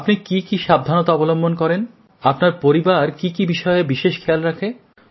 আপনি কী কী সাবধানতা অবলম্বন করেন আপনার পরিবার কী কী বিষয়ে বিশেষ খেয়াল রাখে